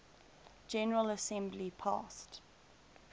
general assembly passed